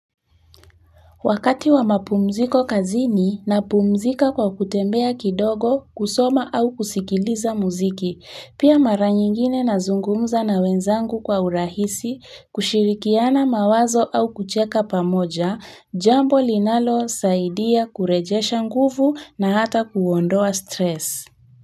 Wakati wa mapumziko kazini napumzika kwa kutembea kidogo, kusoma au kusikiliza muziki, pia mara nyingine nazungumza na wenzangu kwa urahisi, kushirikiana mawazo au kucheka pamoja. Jambo linalosaidia kurejesha nguvu na hata kuondoa stress.